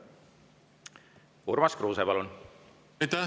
Urmas Kruuse, palun!